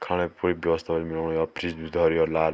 खाणे पूरी व्यवस्था यौ फ्रिज भी धोर्युं लाल।